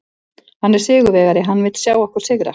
Hann er sigurvegari, hann vill sjá okkur sigra.